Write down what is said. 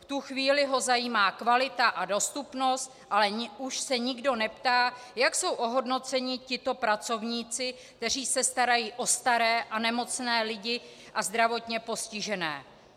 V tu chvíli ho zajímá kvalita a dostupnost, ale už se nikdo neptá, jak jsou ohodnoceni tito pracovníci, kteří se starají o staré a nemocné lidi a zdravotně postižené.